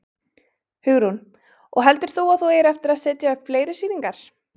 Hugrún: Og heldur þú að þú eigir eftir að setja upp fleiri sýningar?